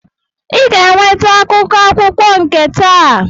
Ị ga-eweta akwụkwọ akụkọ nke taa!